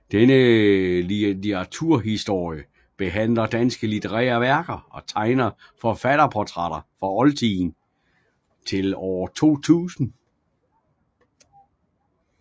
Denne litteraturhistorie behandler danske litterære værker og tegner forfatterportrætter fra oldtiden til år 2000